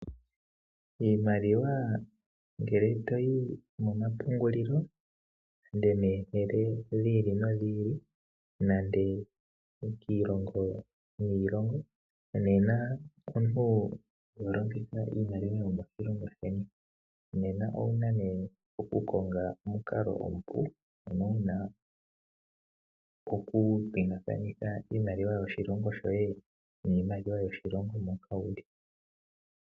Iimaliwa ngele to yi momapungulilo pomahala gi ili nogi ili nenge kiilongo niilongo nena omuntu iho longitha iimaliwa yomoshilongo sheni. Nena owu na okukonga omukalo omupu, ano wu na okupingakanitha iimaliwa yoshilongo shoye niimaliwa yoshilongo mono wu li.